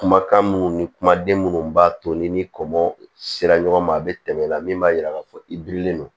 Kumakan minnu ni kumaden minnu b'a to ni kɔngɔ sera ɲɔgɔn ma a bɛ tɛmɛ la min b'a jira k'a fɔ i birilen don